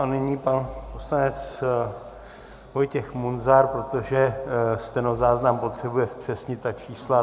A nyní pan poslanec Vojtěch Munzar, protože stenozáznam potřebuje zpřesnit ta čísla.